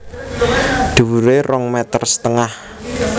Dhuwuré rong meter setengah